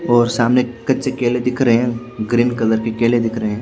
और सामने कच्चे केले दिख रहे हैं ग्रीन कलर के किले दिख रहे--